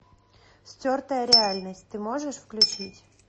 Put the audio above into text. стертая реальность ты можешь включить